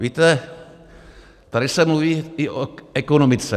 Víte, tady se mluví i o ekonomice.